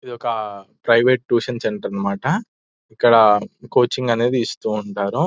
ఇది ఒక private tuition centre అన్నమాట ఇక్కడ కోచింగ్ అనేది ఇస్తూ ఉంటారు --